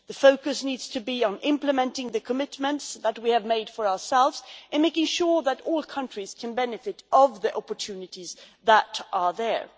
The focus needs to be on implementing the commitments that we have made for ourselves in making sure that all countries can benefit from the opportunities that are there.